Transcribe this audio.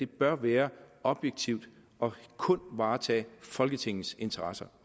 bør være objektivt og kun varetage folketingets interesser